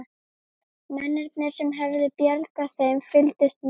Mennirnir sem höfðu bjargað þeim fylgdust með.